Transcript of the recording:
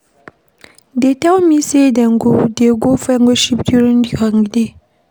Dey tell me say dey go dey go fellowship during the holiday.